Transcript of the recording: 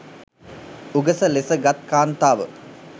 උගස ලෙස ගත් කාන්තාව